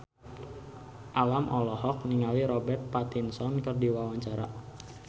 Alam olohok ningali Robert Pattinson keur diwawancara